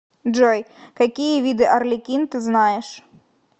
джой какие виды арлекин ты знаешь